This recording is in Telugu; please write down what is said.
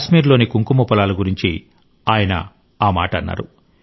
కాశ్మీర్లోని కుంకుమ పొలాల గురించి ఆయన ఆ మాట అన్నారు